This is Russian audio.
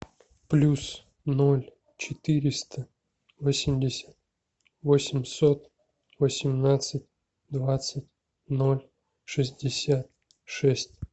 плюс ноль четыреста восемьдесят восемьсот восемнадцать двадцать ноль шестьдесят шесть